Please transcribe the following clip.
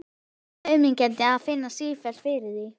Svo auðmýkjandi að finna sífellt fyrir því.